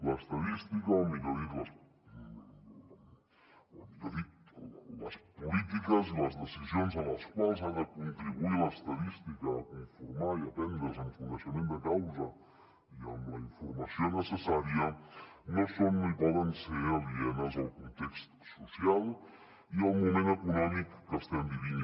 l’estadística o millor dit les polítiques i les decisions a les quals ha de contribuir l’estadística a conformar i a prendre’s amb coneixement de causa i amb la informació necessària no són no ho poden ser alienes al context social i al moment econòmic que estem vivint